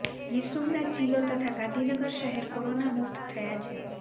ગીરસોમનાથ જિલ્લો તથા ગાંધીનગર શહેર કોરોના મુક્ત થયાં છે